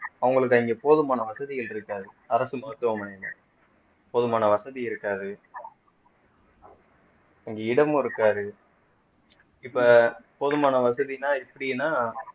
அவங்களுக்கு அங்கே போதுமான வசதிகள் இருக்காது அரசு மருத்துவமனையிலே போதுமான வசதி இருக்காது இங்கே இடமும் இருக்காது இப்போ போதுமான வசதின்னா இப்படின்னா